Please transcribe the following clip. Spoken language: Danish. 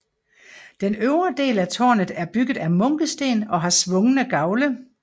Den øvre del af tårnet er bygget af munkesten og har svungne gavle